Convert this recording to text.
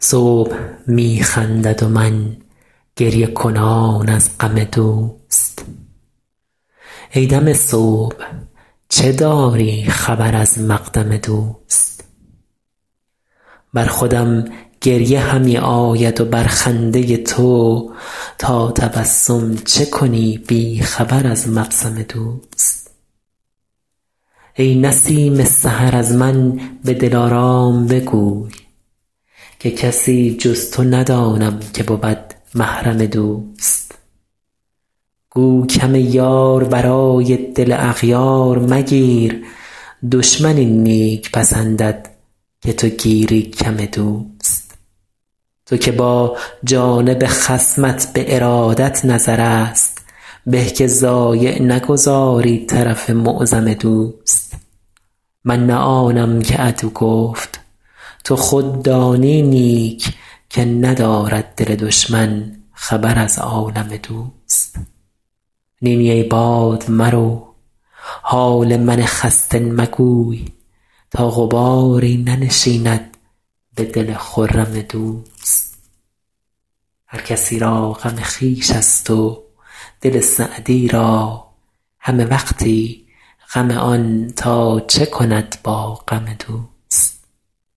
صبح می خندد و من گریه کنان از غم دوست ای دم صبح چه داری خبر از مقدم دوست بر خودم گریه همی آید و بر خنده تو تا تبسم چه کنی بی خبر از مبسم دوست ای نسیم سحر از من به دلارام بگوی که کسی جز تو ندانم که بود محرم دوست گو کم یار برای دل اغیار مگیر دشمن این نیک پسندد که تو گیری کم دوست تو که با جانب خصمت به ارادت نظرست به که ضایع نگذاری طرف معظم دوست من نه آنم که عدو گفت تو خود دانی نیک که ندارد دل دشمن خبر از عالم دوست نی نی ای باد مرو حال من خسته مگوی تا غباری ننشیند به دل خرم دوست هر کسی را غم خویش ست و دل سعدی را همه وقتی غم آن تا چه کند با غم دوست